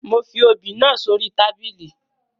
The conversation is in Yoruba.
Mo fi obì náà sórí tábìlì